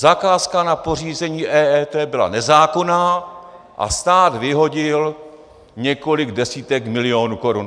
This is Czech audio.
Zakázka na pořízení EET byla nezákonná a stát vyhodil několik desítek milionů korun.